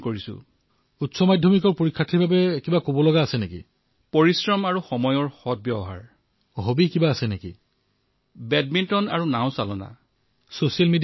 তেওঁক দেখিয়েই মই তেওঁৰ দৰে হবলৈ প্ৰেৰণা লাভ কৰিছো